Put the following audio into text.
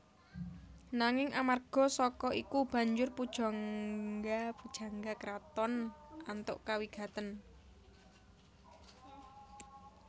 Nanging amarga saka iku banjur pujangga pujangga kraton antuk kawigaten